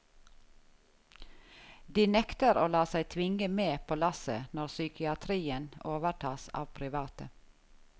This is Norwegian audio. De nekter å la seg tvinge med på lasset når psykiatrien overtas av private.